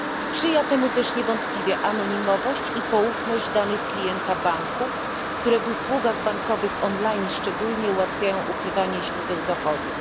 Sprzyja temu też niewątpliwie anonimowość i poufność danych klienta banku, które w usługach bankowych online szczególnie ułatwiają ukrywanie źródeł dochodów.